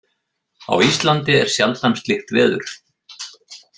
Á Íslandi er sjaldan slíkt veður.